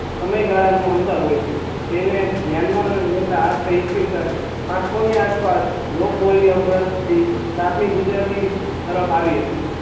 સમય ગાળા નું અંતર હોય છે તેને ધ્યાન માં લેતા સાત સૌ ની આસ પાસ લોક બોલ્યો બ્ર્સ્ત થી પ્રાથમિક ગુજરાતી તરફ આવી હતી